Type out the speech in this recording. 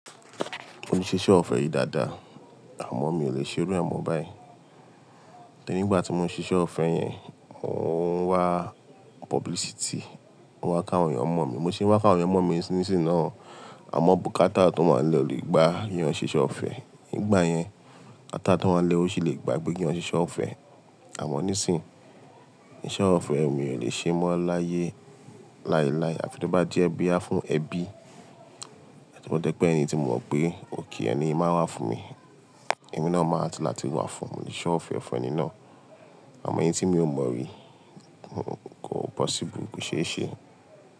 Mo sìṣe ọ̀fẹ́ rìí dáadáa, àmọ́ mi ò lè ṣe irú ẹ̀ mọ́ báyìí. Nígbà tí mo ń ṣiṣẹ́ ọ̀fẹ́ yẹn, mò ń wá publicity, mo ń wá ká àwọn èèyàn mo mi. Mo ṣe wá ká àwọn èèyàn mo mi nísìnsìnyí náà, àmọ́ bùkátà tó máa ń lọ lè gba èèyàn ṣíṣe ọ̀fẹ́. Nígbà yẹn, ata tó máa ń le ò ṣì lè gba pé ké èèyàn ṣíṣe ọ̀fẹ́. Àmọ́ nísìnyí, iṣẹ́ ọ̀fẹ́ mi ò lè ṣe mọ́ láyé láéláé. Àfi tí ó bá jẹ́ bí ya fún ẹbí, àti tó bá dẹ̀ pé ẹni tí mo mọ̀ pé ok ẹni yìí máa n wá fún mi. Ẹni náà máa ti láti wá fún mo le ṣọ̀fẹ́ fẹni náà. Àmọ́ ẹni tí mi ò mọ̀ rí, kò possible, kò ṣeéṣe.